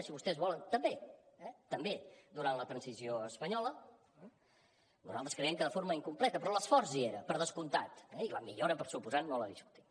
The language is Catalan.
si vostès volen també eh també durant la transició espanyola nosaltres creiem que de forma incompleta però l’esforç hi era per descomptat eh i la millora per descomptat no la discutim